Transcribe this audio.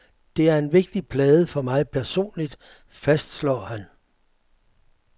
Det er en vigtig plade for mig personligt, fastslår han.